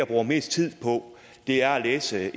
bruger mest tid på er at læse